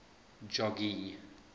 jogee